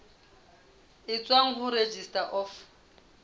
e tswang ho registrar of